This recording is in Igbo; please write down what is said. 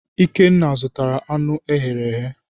Ikenna zụtara anụ e ghere eghe.